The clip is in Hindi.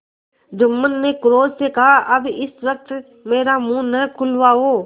जुम्मन ने क्रोध से कहाअब इस वक्त मेरा मुँह न खुलवाओ